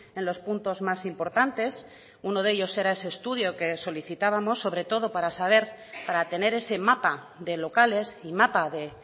en los puntos más importantes uno de ellos era ese estudio que solicitábamos sobre todo para tener ese mapa de locales y mapa de